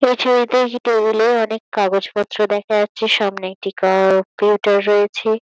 এই ছবিতে এই টেবিল -এ অনেক কাগজ পত্র দেখা যাচ্ছে সামনে একটি ক-কম্পিউটার রয়েছে।